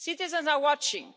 Citizens are watching.